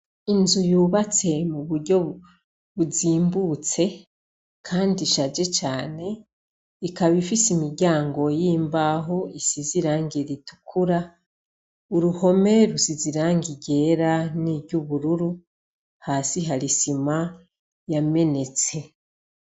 Inzu yubatse muburyo buzimbutse, kandi ishaje cane, ikaba ifise imiryango y'imbaho, isize irangi ritukura, uruhome rusize irangi ryera, n'iry'ubururu, hasi hari isima yamenetse.